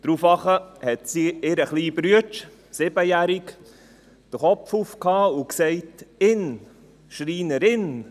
Daraufhin hob der siebenjährige Bruder den Kopf und sagte: «Schreinerin!